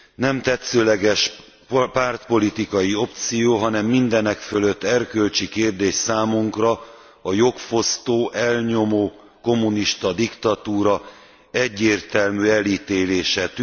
Nem tetszőleges pártpolitikai opció, hanem mindenekfelett erkölcsi kérdés számunkra a jogfosztó, elnyomó, kommunista diktatúra egyértelmű elítélése.